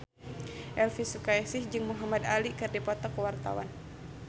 Elvi Sukaesih jeung Muhamad Ali keur dipoto ku wartawan